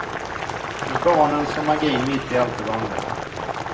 Med barnen som magin mitt i allt det vanliga.